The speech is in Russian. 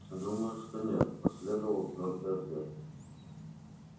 думаю что нет последовал твёрдый ответ